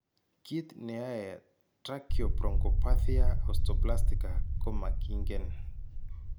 Kiiy ne yae tracheobronchopathia osteoplastica komakiinken.